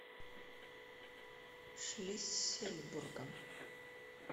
шлиссельбургом